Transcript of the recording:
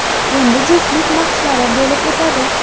Endi juftlik bahslari bo‘lib o‘tadi.